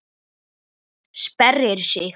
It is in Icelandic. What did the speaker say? Sperrir sig.